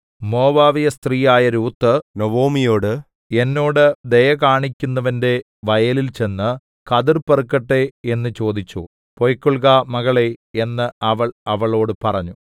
മോവാബ്യസ്ത്രീയായ Ruth നൊവൊമിയോട് എന്നോട് ദയ കാണിക്കുന്നവന്റെ വയലിൽ ചെന്ന് കതിർ പെറുക്കട്ടെ എന്നു ചോദിച്ചു പൊയ്ക്കൊൾക മകളേ എന്നു അവൾ അവളോടു പറഞ്ഞു